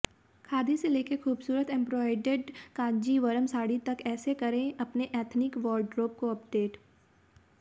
खादी से लेकर खूबसूरत एंब्रोइडर्ड कांजीवरम साड़ी तक ऐसे करें अपनी एथनिक वॉरड्रोब को अपडेट